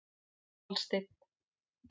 Aðalsteinn